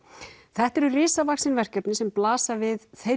þetta eru risavaxin verkefni sem blasa við þeirri